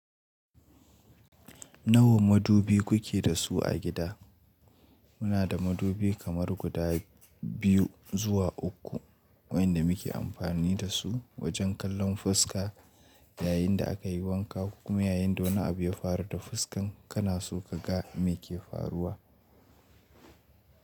Nawa madubi ku ke da su a gida? Muna da madubi kamar guda biyu zuwa uku waɗanda muke amfani da su wajen kallon fuska yayin da aka yi wanka kuma yayin da wani abu ya faru da fuskar kana so ka ga me ke faruwa.